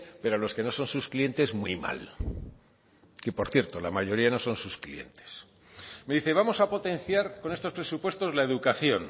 pero a los que no son sus clientes muy mal que por cierto la mayoría no son sus clientes me dice vamos a potenciar con estos presupuestos la educación